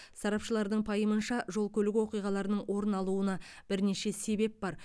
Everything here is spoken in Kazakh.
сарапшылардың пайымынша жол көлік оқиғаларының орын алуына бірнеше себеп бар